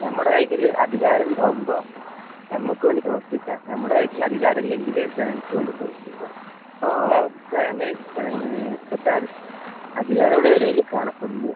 നമ്മടെ കൈയ്യില് അധികാരം ഇണ്ടാവുമ്പോ നമ്മക്ക് വേണ്ടി പ്രവർത്തിക്കാ, നമ്മടെ കൈയ്യില് അധികാരം ഇല്ലെങ്കില് ജനങ്ങൾക്ക് വേണ്ടി പ്രവർത്തിക്ക്ക. ഈ അവസ്ഥയാണ് ജനങ്ങള് സർക്കാര് അധികാരികളുടെ ഇടയില് കാണപ്പെടുന്നത്.